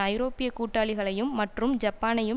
ஐரோப்பிய கூட்டாளிகளையும் மற்றும் ஜப்பானையும்